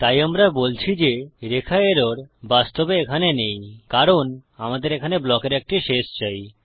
তাই আমরা বলছি যে রেখা এরর বাস্তবে এখানে নেই কারণ আমাদের এখানে ব্লকের একটি শেষ চাই